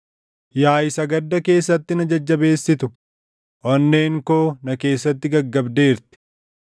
Yaa isa gadda keessatti na Jajjabeessitu, onneen koo na keessatti gaggabdeerti.